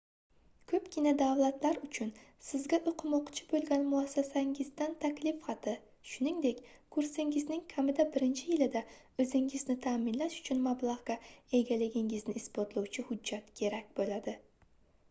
koʻpgina davlatlar uchun sizga oʻqimoqchi boʻlgan muassasangizdan taklif xati shuningdek kursingizning kamida birinchi yilida oʻzingizni taʼminlash uchun mablagʻga egaligingizni isbotlovchi hujjat kerak boʻladi